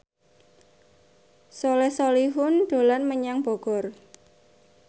Soleh Solihun dolan menyang Bogor